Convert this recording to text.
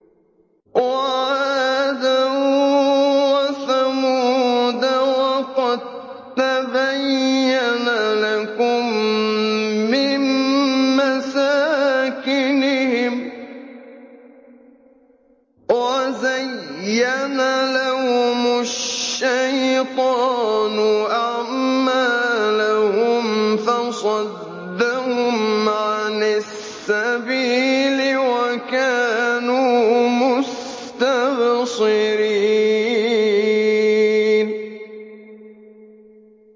وَعَادًا وَثَمُودَ وَقَد تَّبَيَّنَ لَكُم مِّن مَّسَاكِنِهِمْ ۖ وَزَيَّنَ لَهُمُ الشَّيْطَانُ أَعْمَالَهُمْ فَصَدَّهُمْ عَنِ السَّبِيلِ وَكَانُوا مُسْتَبْصِرِينَ